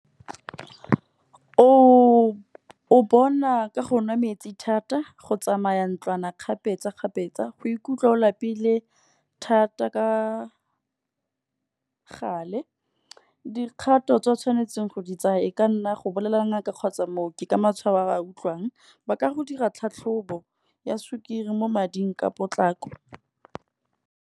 O bona ka go nwa metsi thata go tsamaya ntlwana, kgapetsa-kgapetsa, go ikutlwa o lapile thata ka gale. Dikgato tse di tshwanetseng go di tsaya, e ka nna go bolelela ngaka kgotsa mooki ka matshwao a ba utlwang. Ba ka go dira tlhatlhobo ya sukiri mo mading ka potlako.